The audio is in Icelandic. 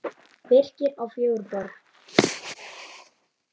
Birkir á fjögur börn.